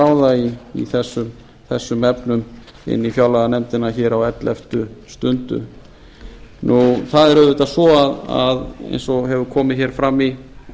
ráða í þessum efnum inn í fjárlaganefndina hér á elleftu stundu það er auðvitað svo eins og hefur hér komið hér fram í